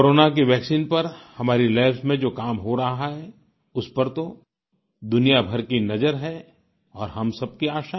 corona की vaccine पर हमारी लैब्स में जो काम हो रहा है उस पर तो दुनियाभर की नज़र है और हम सबकी आशा भी